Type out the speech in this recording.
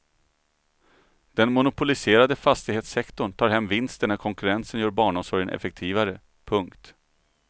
Den monopoliserade fastighetssektorn tar hem vinsten när konkurrensen gör barnomsorgen effektivare. punkt